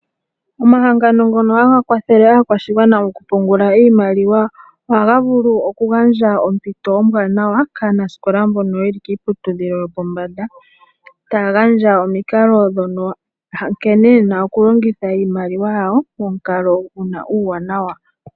Omahangano ngono haga kwathele aakwashigwana oku pungula iimaliwa ohaga vulu oku gandja ompito ombwaanawa kaanasikola mbono yeli kiiputidhilo yopombanda, taga gandja omikalo nkene yena oku longitha iimaliwa yawo momukalo guna uuwanawa.